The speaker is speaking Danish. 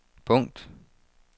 punkt